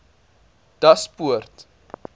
daspoort